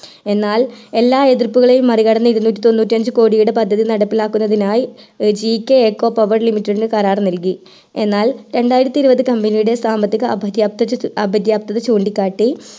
എന്നാൽ എല്ലാം എതിർപ്പുകയേയും മറികടന്ന് ഇരുനൂറ്റി തൊണ്ണൂറ്റി അഞ്ച്‌ കോടിയുടെ പദ്ധതി നടപ്പിലാക്കുന്നതിനായി GK Eco Power limited നു കരാർ നൽകി എന്നാൽ രണ്ടിയത്തി ഇരുപതു company യുടെ സാമ്പത്തിക അപ്രതിക ചൂണ്ടിക്കാട്ടി